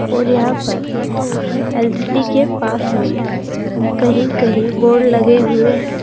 और यहां पर एल_सी_डी के पास में कहीं कहीं बोर्ड लगे हुए है।